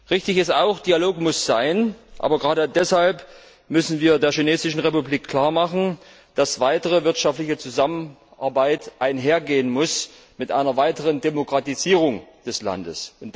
Richtig ist auch, dass Dialog sein muss, aber gerade deshalb müssen wir der Republik China klar machen, dass eine weitere wirtschaftliche Zusammenarbeit einhergehen muss mit einer weiteren Demokratisierung des Landes.